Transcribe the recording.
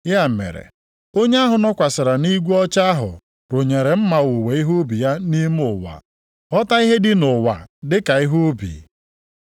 Ya mere, onye ahụ nọkwasịrị nʼigwe ọcha ahụ rụnyere mma owuwe ihe ubi ya nʼime ụwa, ghọta ihe dị nʼụwa dịka ihe ubi.